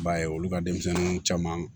I b'a ye olu ka denmisɛnninw caman